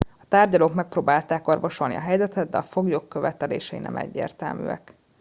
a tárgyalók megpróbálták orvosolni a helyzetet de a foglyok követelései nem egyértelműek